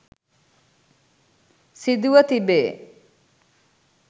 සිදුව තිබේ.